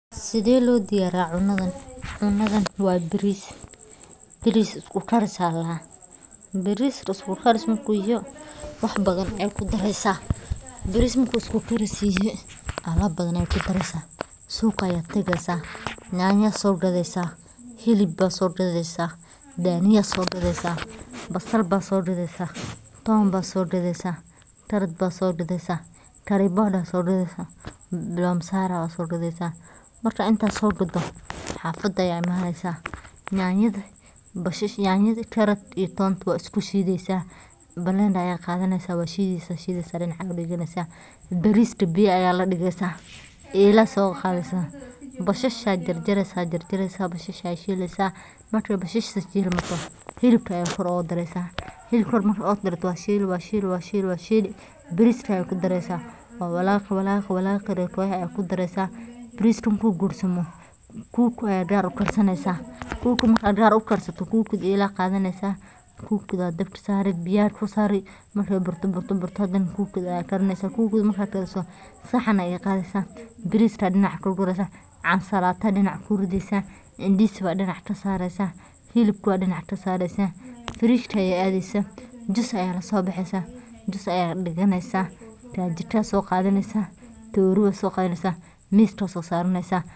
Sidaa loo diyariya cundan cundan wa baris baris isku garis aya ladaha baris isku garis marku yaho, wax badan aya ku darasah, baris marku isku garis yahay alab badan aya ku dariysah, suqa aya tagsah janjo aya sogadisah hilab aya sogadisah daniya aya sogadisah basal aya sogadasah toon ba sogadasah karod baa sogadsah kari boda aya sogadisah bal masar aya sogadasah, marka inta sogadoh xafada aya ii manasah jajada bash jajada karod iyo toonta wad isku shidaysah bal aya qadasah wad shidsah dinac aya diganasah bariska biya aya ku darisah aya la digsah ala aya soqadasah basha aya jar jarsah jarjarsah wad shilsah marka basasha shilmatoh hilabka aya gor oga darisah, hilabka marka gor oga dartoh wa shili wa shili wa shili wa shili bariska aya ku darsah wa walaqi wa walaqi marka arka ya ah ku darsah bariska marku gursamoh, kuwa kle aya gar u garsanasah kuga marka gar ugarsatoh ala ay qadanaysah kugda dabka sari biya dab ku sari marka burto burto hadanah kuguada aya ka rimasah marka garisoh saxan aya qadisah bariska aya dinac ka gurasah cansalata ku ridasah indis aya dinac ka sarsah hilabka aya dinac ka sarsah firishka aya adisah jus aya la sobaxiysah jus aya ag diganasah kal jiko ayaa soqadnasah tori aya soqadansah miska aya sosaranisah.